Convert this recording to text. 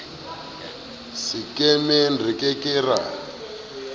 sekemeng re ke ke ra